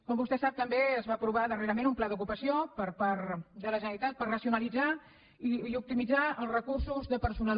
com vostè sap també es va aprovar darrerament un pla d’ocupació per part de la generalitat per racionalitzar i optimitzar els recursos de personal